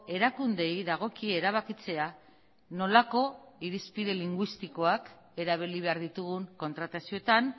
erakundeei dagokie erabakitzea nolako irizpide linguistikoak erabili behar ditugun kontratazioetan